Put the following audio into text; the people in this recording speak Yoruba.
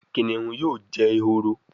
Kìnìún yóò jé ehoro